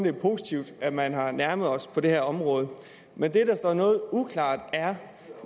er positivt at man har nærmet sig os på det her område men det der står noget uklart er